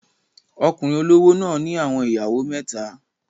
Okunrin olowo náà ni awọn iyawo meta